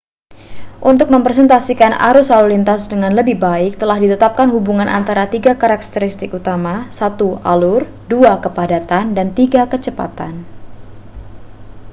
untuk merepresentasikan arus lalu lintas dengan lebih baik telah ditetapkan hubungan antara tiga karakteristik utama: 1 alur 2 kepadatan dan 3 kecepatan